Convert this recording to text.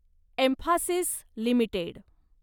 Mphasis limited